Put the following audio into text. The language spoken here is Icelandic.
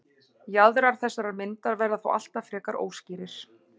Jaðrar þessarar myndar verða þó alltaf frekar óskýrir.